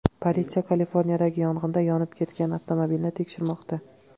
Politsiya Kaliforniyadagi yong‘inda yonib ketgan avtomobilni tekshirmoqda.